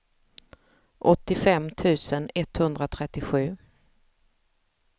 åttiofem tusen etthundratrettiosju